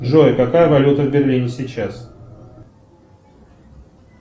джой какая валюта в берлине сейчас